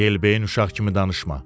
Yelbeyin uşaq kimi danışma.